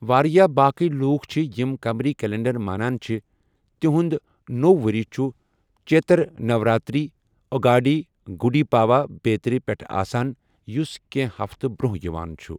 واریٛاہ باقٕے لوٗکھ چھِ یِم قمری کیلنڈر مانان چھِ، تِہُنٛد نوٚو ؤری چھُ چیتر نوراتری، اگاڈی، گُڈی پاڈوا بیٚترِ پٮ۪ٹھ آسان، یُس کینٛہہ ہفتہٕ برٛونٛہہ یِوان چھُ ۔